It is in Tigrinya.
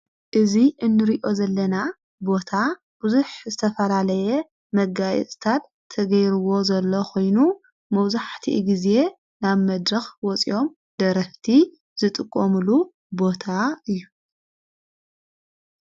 እዚ እንርእዮ ዘለና ቦታ ብዙኅ ዝተፈላለየ መጋይስታድ ተገይርዎ ዘሎ ኾይኑ፤ መብዙሕቲ ጊዜ ናብ መድርኽ ወፂኦም ደረፍቲ ዝጥቆምሉ ቦታ እዩ።